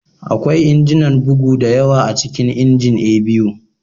Akwai injinan bugu da yawa a cikin injin A.B.U